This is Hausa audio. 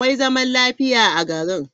Akwai zaman lafiya a garin.